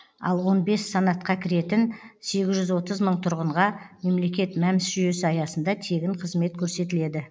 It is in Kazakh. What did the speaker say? ал он бес санатқа кіретін сегіз жүз отыз мың тұрғынға мемлекет мәмс жүйесі аясында тегін қызмет көрсетіледі